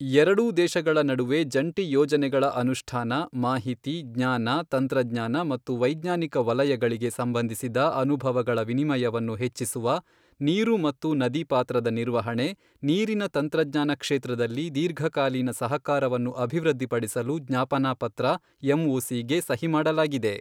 ಎರಡೂ ದೇಶಗಳ ನಡುವೆ ಜಂಟಿ ಯೋಜನೆಗಳ ಅನುಷ್ಠಾನ, ಮಾಹಿತಿ, ಜ್ಞಾನ, ತಂತ್ರಜ್ಞಾನ ಮತ್ತು ವೈಜ್ಞಾನಿಕ ವಲಯಗಳಿಗೆ ಸಂಬಂಧಿಸಿದ ಅನುಭವಗಳ ವಿನಿಯಮವನ್ನು ಹೆಚ್ಚಿಸುವ, ನೀರು ಮತ್ತು ನದಿ ಪಾತ್ರದ ನಿರ್ವಹಣೆ, ನೀರಿನ ತಂತ್ರಜ್ಞಾನ ಕ್ಷೇತ್ರದಲ್ಲಿ ದೀರ್ಘಕಾಲೀನ ಸಹಕಾರವನ್ನು ಅಭಿವೃದ್ಧಿಪಡಿಸಲು ಜ್ಞಾಪನಾ ಪತ್ರ ಎಂಒಸಿ ಗೆ ಸಹಿಮಾಡಲಾಗಿದೆ.